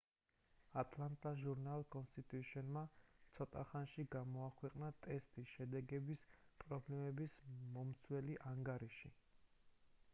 atlanta journal-constitution-მა ცოტახანში გამოაქვეყნა ტესტის შედეგების პრობლემების მომცველი ანგარიში